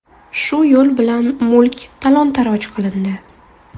Shu yo‘l bilan mulk talon-taroj qilindi.